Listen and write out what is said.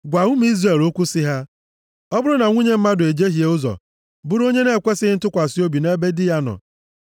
“Gwa ụmụ Izrel okwu sị ha, Ọ bụrụ na nwunye mmadụ ejehie ụzọ bụrụ onye na-ekwesighị ntụkwasị obi nʼebe di ya nọ